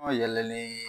An yɛlɛlen